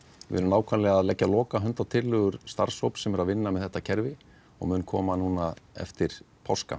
við erum að leggja lokahönd á tillögur starfshóps sem er að vinna með þetta kerfi og mun koma núna eftir páska